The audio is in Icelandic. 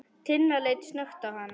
Tinna leit snöggt á hann.